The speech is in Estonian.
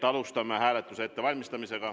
Alustame hääletuse ettevalmistamist.